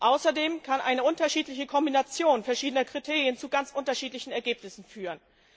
Außerdem kann eine unterschiedliche Kombination verschiedener Kriterien zu ganz unterschiedlichen Ergebnissen führen.